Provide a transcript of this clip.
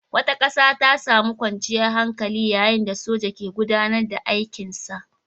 ƙasa tana samun kwanciyar hankali yayin da soja ke gudAnar da aikin sa